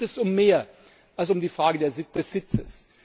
Mir geht es um mehr als um die Frage des Sitzes.